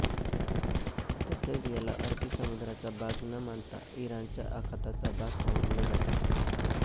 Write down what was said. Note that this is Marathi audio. तसेच याला अरबी समुद्राचा भाग न मानता इराणच्या आखाताचा भाग समजले जाते